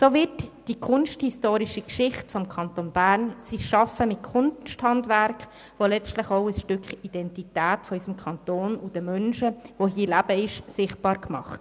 So wird die kunsthistorische Geschichte und Gegenwart des Kantons Bern und damit ein Stück Identität dieses Kantons und der hier lebenden Menschen sichtbar gemacht.